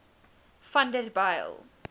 vanderbijl